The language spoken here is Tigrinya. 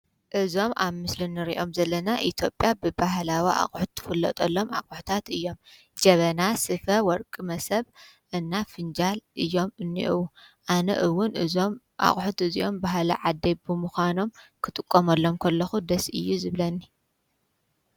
እዞም ኣብ ምስሊ እንሪኦም ዘለና ኣትዮጵያ ብባህላዊ ኣቁሑ እትፍለጠሎም ኣቁሑታት እዮም። ጀበና፣ ስፈ፣ ወርቂ፣ መሶብ እና ፍንጃል እዮም እኔዉ። አነ እዉን እዞም ኣቁሑት እዚኦም ባህሊ ዓደይ ብምኳኖም ክጥቀመሎም ከለኩ ደስ እዩ ዝብለኒ።